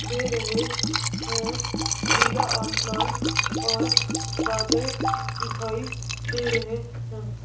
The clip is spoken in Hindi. दे रहे हैं नीला आसमान और बादल दिखाई दे रहे हैं।